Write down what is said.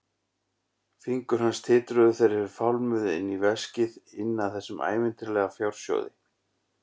Fingur hans titruðu þegar þeir fálmuðu inn í veskið, inn að þessum ævintýralega fjársjóði.